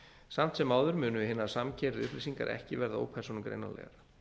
samt sem áður munu hinar samkeyra upplýsingar ekki verða ópersónugreinanlegar